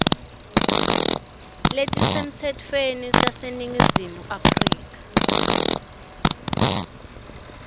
letisemtsetfweni taseningizimu afrika